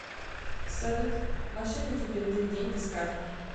салют мошенники перевели деньги с карты